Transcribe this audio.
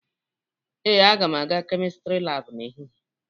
Ee, aga m aga kemistri laabụ n'ehihie